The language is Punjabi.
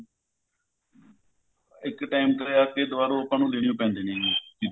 ਇੱਕ time ਤੇ ਆਪਨੇ ਦੁਬਾਰੋ ਆਪਾਂ ਨੂੰ ਲੇਣੇ ਉਹ ਪੈਂਦੇ ਨੇ ਚੀਜਾਂ